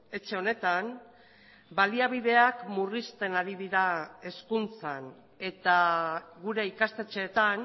etxe honetan baliabideak murrizten ari dira hezkuntzan eta gure ikastetxeetan